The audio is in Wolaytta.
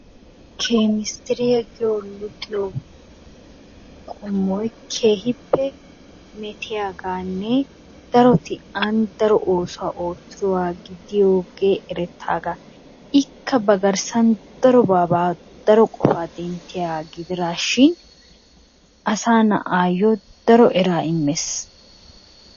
Kemiistiryaa giyo luxiyo qommoy kehippe mettiyaganne darotti anni daro ossuwaa ottiyoggaa gidiyogee eratagaa, ikkaa bagarisani daroobbaa daaro qooppaa denttiyaa birashin asaa na'ayo daroo eraa emees.